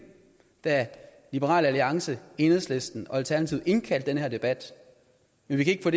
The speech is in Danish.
da liberal alliance enhedslisten og alternativet indkaldte til den her debat men vi kan